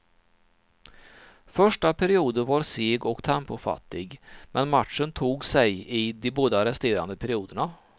Första perioden var seg och tempofattig, men matchen tog sig i de båda resterande perioderna.